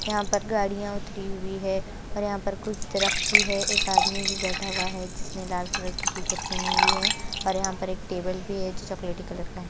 यहाँ पर गाड़ियाँ उतरी हुई हैं और यहाँ पर कुछ दरख्त भी है एक आदमी भी बैठा हुआ है जिसने लाल कलर की टी-शर्ट पेहनी हुई है और यहाँ पर एक टेबल भी है जो चॉकलेटी कलर का है।